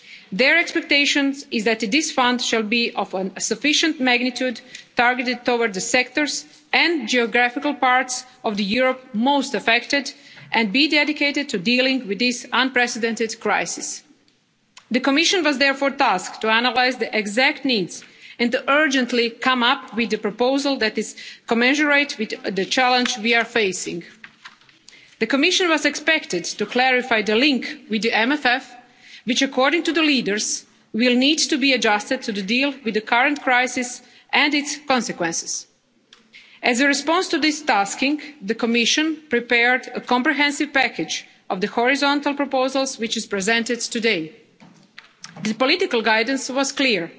Their expectation is that this fund should be of sufficient magnitude and targeted toward the sectors and geographical parts of Europe most affected and be dedicated to dealing with this unprecedented crisis. The Commission was therefore tasked with analysing the exact needs and to urgently come up with a proposal that is commensurate with the challenge we are facing. The Commission was expected to clarify the link with the MFF, which, according to the leaders, will need to be adjusted to deal with the current crisis and its consequences. As a response to this tasking, the Commission prepared a comprehensive package of horizontal proposals, which is presented today. The political guidance was